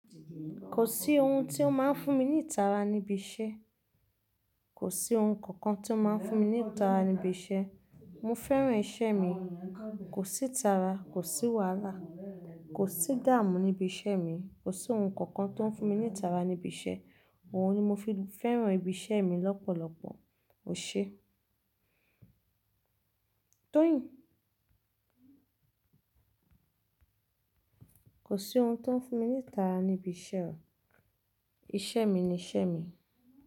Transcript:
Kò sí ohun tí ó máa ń fún mi ní ìtara níbi iṣẹ́. Kò sí ohun kankan tí ó máa ń fún mi ní ìtara níbi iṣẹ́. Mo fẹ́ràn iṣẹ́ mi. Kò sí ìtara, kò sí wàhálà, kò sí dààmú níbi iṣẹ́ mi. Kò sí ohun kankan tó ń fún mi ní ìtara níbi iṣẹ́. Òhun ni mo fi fẹ́ràn ibi iṣẹ́ mi lọ́pọ̀lọpọ̀. O ṣe? Toyin. Kò sí ohun tó ń fún mi ní ìtara níbi iṣẹ́. Iṣẹ́ mi ni iṣẹ́ mi.